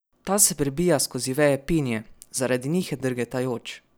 Ta se prebija skozi veje pinije, zaradi njih je drgetajoč.